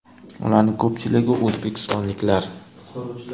Ularning ko‘pchiligi o‘zbekistonliklar.